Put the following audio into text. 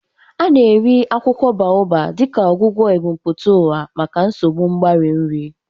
A na-eri akwụkwọ Baobab dịka ọgwụgwọ ebumpụta ụwa maka nsogbu mgbari nri.